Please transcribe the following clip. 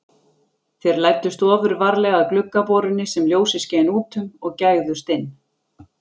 Þeir læddust ofurvarlega að gluggaborunni sem ljósið skein út um og gægðust inn.